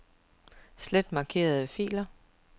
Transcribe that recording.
Slet markerede filer.